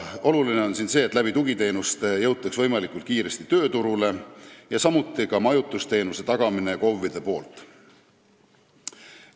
Oluline on siin see, et tugiteenuste abil jõutaks võimalikult kiiresti tööturule, samuti ka majutusteenuse tagamine KOV-ide poolt.